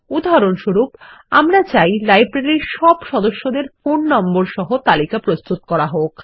উদাহরণস্বরূপ আমরা চাই লাইব্রেরীর সব সদস্যদের ফোন নম্বর সহ তালিকা প্রস্তুত করা হোক